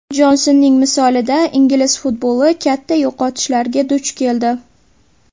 Jonsonning misolida ingliz futboli katta yo‘qotishlarga duch keldi.